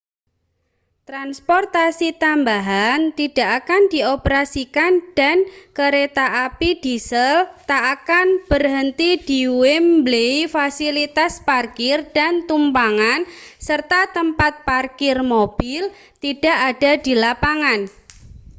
transportasi tambahan tidak akan dioperasikan dan kereta api diesel tak akan berhenti di wembley fasilitas parkir dan tumpangan serta tempat parkir mobil tidak ada di lapangan